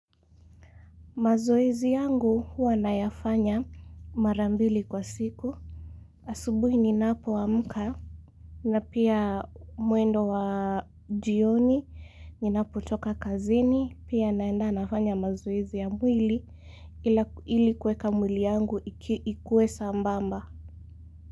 Mazoezi yangu huwa nayafanya mara mbili kwa siku. Asubuhi ninapo amka. Na pia mwendo wa jioni. Ninapotoka kazini. Pia naenda nafanya mazoezi ya mwili. Ili kueka mwili yangu ikuwe sambamba.